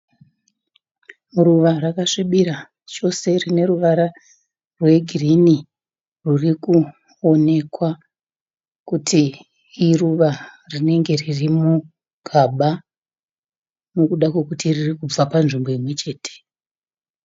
Ruva rakasvibira chose rine ruvara rwegirinhi ririkuonekwa kuti iruva rinenge riri mugaba nekuda kwekuti ririkubva nzvimbo imwechete.